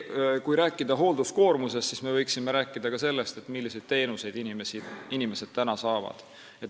Kui rääkida hoolduskoormusest, siis me võiksime rääkida ka sellest, milliseid teenuseid inimesed saavad.